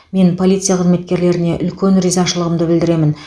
мен полиция қызметкерлеріне үлкен ризашылығымды білдіремін